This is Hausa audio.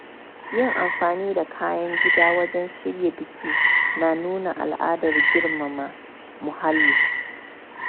Yin amfani da kayan gida wajen shirya biki na nuna al’adar girmama muhalli.